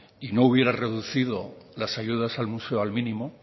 y no hubiera reducido las ayudas al museo al mínimo